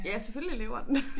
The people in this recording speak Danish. Ja selvfølgelig lever den